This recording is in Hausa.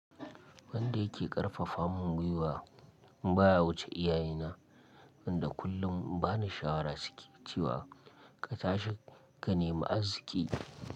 Wanda yake ƙarfafa mun gwiwa baya wuce iyaye na wanda kullum bani shawara suke cewa ka tashi ka nemi aziki.